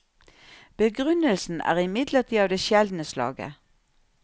Begrunnelsen er imidlertid av det sjeldne slaget.